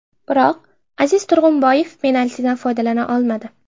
Biroq Aziz Turg‘unboyev penaltidan foydalana olmadi.